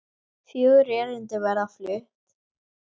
Fjögur erindi verða flutt.